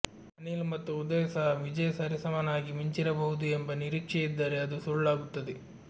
ಅನಿಲ್ ಮತ್ತು ಉದಯ್ ಸಹ ವಿಜಯ್ ಸರಿಸಮನಾಗಿ ಮಿಂಚಿರಬಹುದು ಎಂಬ ನಿರೀಕ್ಷೆ ಇದ್ದರೆ ಅದು ಸುಳ್ಳಾಗುತ್ತದೆ